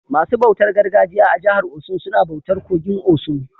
Masu bautar gargajiya a jihar Osun suna bautar kogin osun.